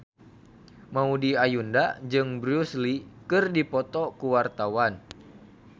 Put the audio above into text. Maudy Ayunda jeung Bruce Lee keur dipoto ku wartawan